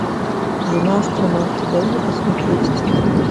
жена астронавта дай мне посмотреть